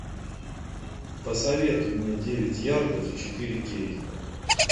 посоветуй мне девять ярдов четыре кей